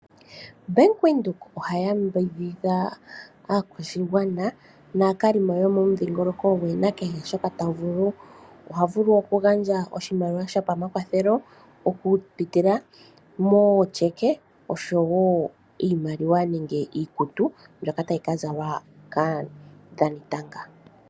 Bank windhoek ohaya mbidhidha aakwashigwana naakalimo yomomudhingoloko gwe nakehe shoka ta vulu ,oha vulu wo okugandja oshimaliwa shopamakwathelo oku pitila mo checke oshowo iimaliwa nenge iikutu mbyoka tayika zalwa kaadhanitanga.